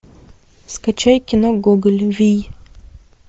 скачай кино гоголь вий